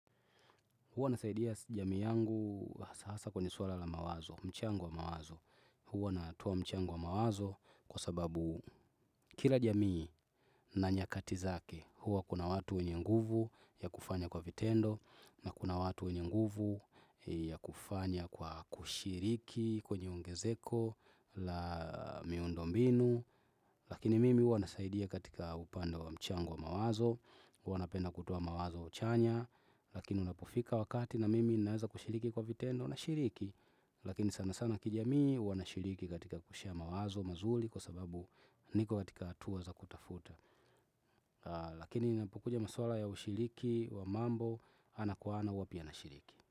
Huwa nasaidia jamii yangu hasahasa kwenye swala la mawazo, mchango wa mawazo. Huwa natoa mchango wa mawazo kwa sababu kila jamii na nyakati zake. Huwa kuna watu wenye nguvu ya kufanya kwa vitendo na kuna watu wenye nguvu ya kufanya kwa kushiriki kwenye ongezeko la miundo mbinu. Lakini mimi huwa nasaidia katika upande wa mchango wa mawazo. Huwa napenda kutoa mawazo chanya. Lakini unapofika wakati na mimi ninaweza kushiriki kwa vitendo nashiriki lakini sana sana kijamii huwa nashiriki katika kushea mawazo mazuri. Kwa sababu niko katika hatua za kutafuta. Lakini inapukuja maswala ya ushiriki wa mambo ana kwa ana huwa pia nashiriki.